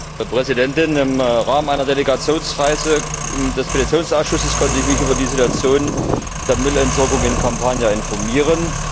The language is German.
Frau Präsidentin! Im Rahmen einer Delegationsreise des Petitionsausschusses konnte ich mich über die Situation der Müllentsorgung in Kampanien informieren.